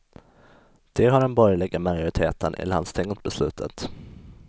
Det har den borgerliga majoriteten i landstinget beslutat.